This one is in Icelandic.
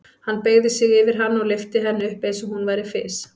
Hann beygði sig yfir hana og lyfti henni upp eins og hún væri fis.